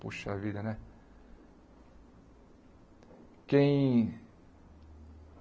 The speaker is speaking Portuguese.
Puxa vida, né? Quem